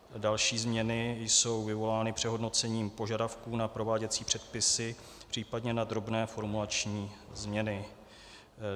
Další změny jsou vyvolány přehodnocením požadavků na prováděcí předpisy, případně na drobné formulační změny.